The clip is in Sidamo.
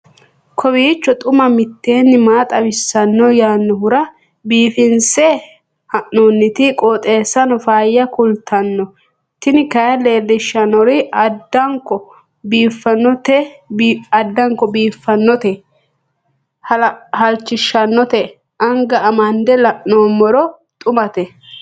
kowiicho xuma mtini maa xawissanno yaannohura biifinse haa'noonniti qooxeessano faayya kultanno tini kayi leellishshannori addanko biiffannote halchishshannote anga amande la'noommero xumate